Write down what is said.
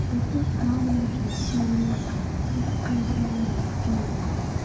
Kedu ka anyị ga-esi mee ka ịkụzi anyị dị irè?